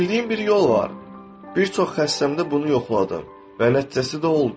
Bildiyim bir yol var, bir çox xəstəmdə bunu yoxladım və nəticəsi də oldu.